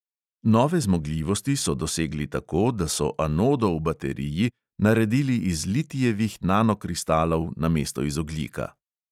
Nove zmogljivosti so dosegli tako, da so anodo v bateriji naredili iz litijevih nanokristalov namesto iz ogljika.